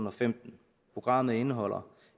og femten programmet indeholder